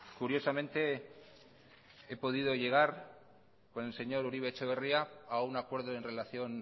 curiosamente he podido llegar con el señor uribe etxebarria a un acuerdo en relación